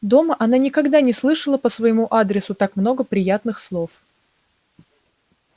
дома она никогда не слышала по своему адресу так много приятных слов